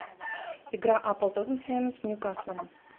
игра апл тоттенхэм с ньюкаслом